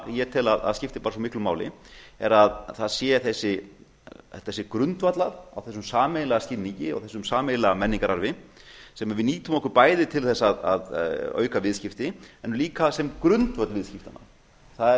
ég tel að skipti bara svo miklu máli er að þetta sé grundvallað á þessum sameiginlega skilningi á þessum sameiginlega menningararfi sem við nýtum okkur bæði til þess að auka viðskipti en líka sem grundvöll viðskiptanna það